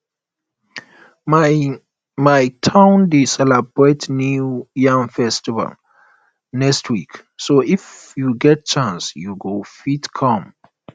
my um my um town dey celebrate new um yam festival next week so if you get chance you go fit come